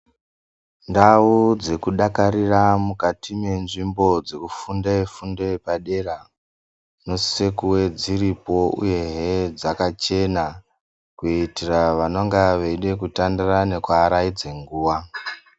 Ndau dzekudakarira mukati menzvimbo dzekufunde fundo yepadera dzinosise kuve dziripo uye he dzakachena kuitira vanonga veide kutandara nekuaraidze nguwa.